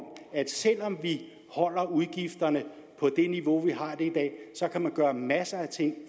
at selv om vi holder udgifterne på det niveau vi har i dag kan man gøre masser af ting